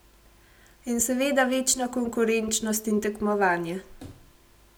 In seveda večna konkurenčnost in tekmovanje.